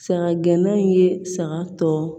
Saga gɛnna in ye saga tɔ